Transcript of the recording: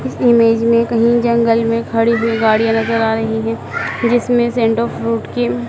इस इमेज में कहीं जंगल में खड़ी हुई गाड़ियां नजर आ रही है जिसमें सेंटर फ्रूट की--